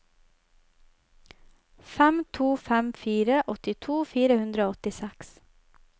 fem to fem fire åttito fire hundre og åttiseks